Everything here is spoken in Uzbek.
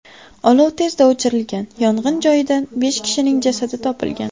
Olov tezda o‘chirilgan, yong‘in joyidan besh kishining jasadi topilgan.